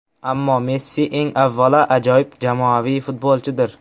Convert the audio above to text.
Ammo Messi eng avvalo, ajoyib jamoaviy futbolchidir.